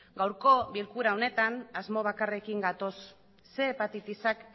gaurko bilkura honetan asmo bakarrarekin gatoz ehun hepatitisak